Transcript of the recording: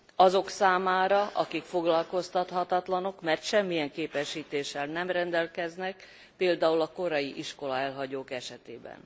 Azok számára, akik foglalkoztathatatlanok, mert semmilyen képesítéssel nem rendelkeznek, például a korai iskolaelhagyók esetében.